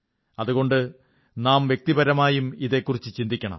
അതുകൊണ്ട് നാം വ്യക്തിപരമായും ഇതെക്കുറിച്ചു ചിന്തിക്കണം